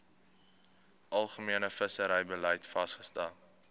algemene visserybeleid vasgestel